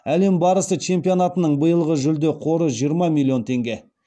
әлем барысы чемпионатының биылғы жүлде қоры жиырмап миллион теңге